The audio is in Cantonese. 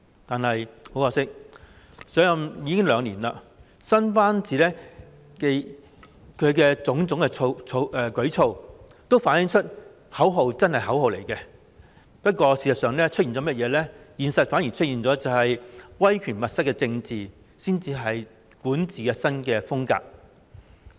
但是，很可惜，她已上任兩年，新班子和她的種種舉措，都反映出口號真的只是口號而已，現實中出現的威權密室政治才是管治新風格。